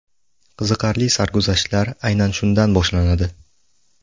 Qiziqarli sarguzashtlar aynan shundan boshlanadi.